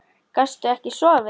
Gastu ekki sofið?